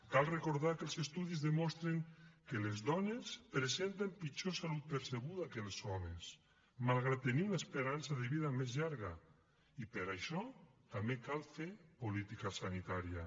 cal recordar que els estudis demostren que les dones presenten pitjor salut percebuda que els homes malgrat tenir una esperança de vida més llarga i per això també cal fer política sanitària